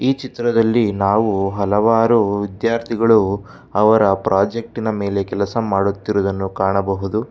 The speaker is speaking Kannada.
ಚಿತ್ರದಲ್ಲಿ ನಾವು ಹಲವಾರು ವಿದ್ಯಾರ್ಥಿಗಳು ಅವರ ಪ್ರಾಜೆಕ್ಟಿನ ಮೇಲೆ ಕೆಲಸ ಮಾಡುತ್ತಿರುವುದನ್ನು ಕಾಣಬಹುದು.